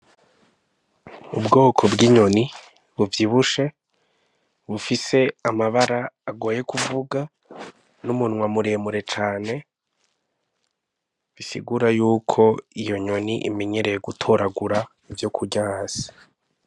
Ubwoko bw'inyoni buvyibushe bufise amabara agoye kuvuga n'umunywa muremure cane bisigura yuko iyo nyoni imenyereye gutoragura ivyo kurya hasi.